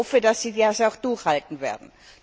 Ich hoffe, dass sie das auch durchhalten werden.